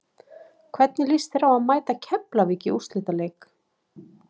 Hvernig lýst þér á að mæta Keflavík í úrslitaleik?